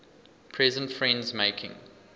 present friends making